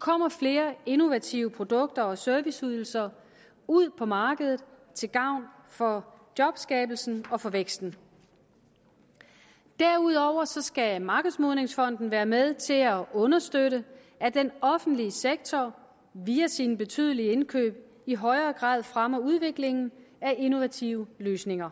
kommer flere innovative produkter og serviceydelser ud på markedet til gavn for jobskabelsen og for væksten derudover skal markedsmodningsfonden være med til at understøtte at den offentlige sektor via sine betydelige indkøb i højere grad fremmer udviklingen af innovative løsninger